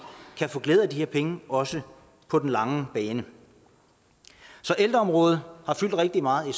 kan få glæde af de her penge også på den lange bane så ældreområdet har fyldt rigtig meget i